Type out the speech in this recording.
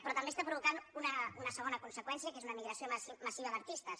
però també està provocant una segona conseqüència que és una emigració massiva d’artistes